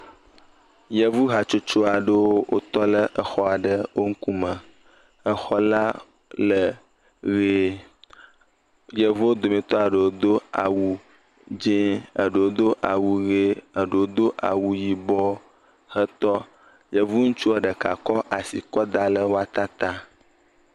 Yevu hatsotso aɖewo wotɔ ɖe xɔ aɖe wo ŋkume. Exɔ la le ʋie. Yevuwo dometɔ ɖewo do awu dzi, eɖewo do awu ʋi, eɖewo do awu yibɔ hetɔ. Yevu ŋutua ɖeka kɔ asi kɔ da ɖe wo ata ta.